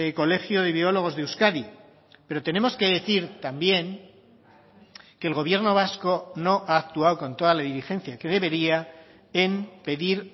colegio de biólogos de euskadi pero tenemos que decir también que el gobierno vasco no ha actuado con toda la diligencia que debería en pedir